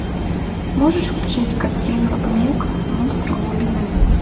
можешь включить картину мег монстр глубины